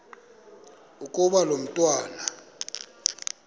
ukuba lo mntwana